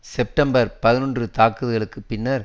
September பதினொன்று தாக்குதலுக்கு பின்னர்